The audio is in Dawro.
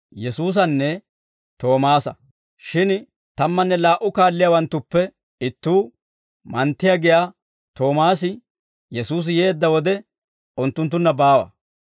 Shin tammanne laa"u kaalliyaawanttuppe ittuu, Manttiyaa giyaa Toomaasi, Yesuusi yeedda wode unttunttunna baawa.